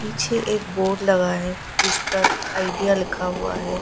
पीछे एक बोर्ड लगा है जिस पर आइडिया लिखा हुआ है।